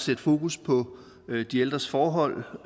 sætte fokus på de ældres forhold